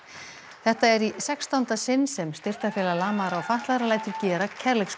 þetta er í sextánda sinn sem Styrktarfélag lamaðra og fatlaðra lætur gera